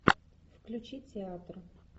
включи театр